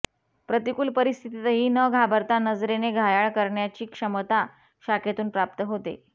प्रतिकुल परिस्थितीतही न घाबरता नजरेने घायाळ करण्याची क्षमता शाखेतून प्राप्त होते